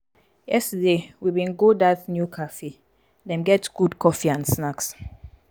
yesterday we bin go dat new cafe dem get good coffee and snacks.